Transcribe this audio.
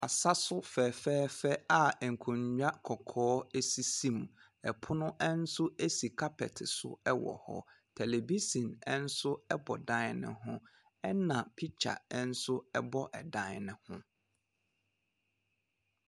Asaso fɛfɛɛfɛ a nkonnwa kɔkɔɔ sisi mu. Pono nso si carpet so wɔ hɔ. tɛlɛbisen nso bɔ dan ne ho, na picture nso bɔ dan ne ho.